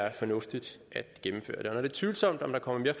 er fornuftigt at gennemføre det tvivlsomt om der kommer mere